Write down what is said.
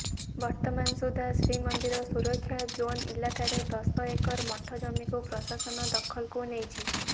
ବର୍ତ୍ତମାନ ସୁଦ୍ଧା ଶ୍ରୀମନ୍ଦିର ସୁରକ୍ଷା ଜୋନ ଇଲାକାରେ ଦଶ ଏକର ମଠ ଜମିକୁ ପ୍ରଶାସନ ଦଖଲକୁ ନେଇଛି